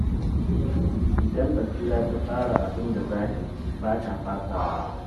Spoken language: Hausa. Idan Basira ta tsara abin da za ta yi, ba ta fasawa